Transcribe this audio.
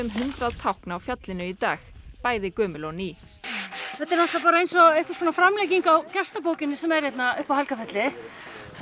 hundrað tákn af fjallinu í dag bæði gömul og ný þetta er náttúrulega bara eins og einhver framlenging á gestabókinni sem er hérna upp á Helgafelli það